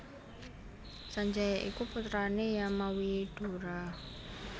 Sanjaya iku putrane Yamawidura